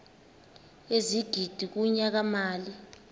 ezigidi kunyaka mali